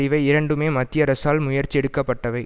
இவை இரண்டுமே மத்திய அரசால் முயற்சியெடுக்கப்பட்டவை